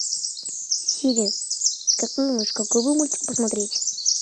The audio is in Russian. сири как ты думаешь какой бы мультик посмотреть